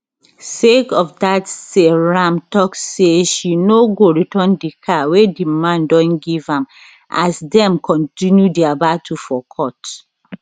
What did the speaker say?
sake of dat seyram tok say she no go return di car wey di man don give am as dem kontinu dia battle for court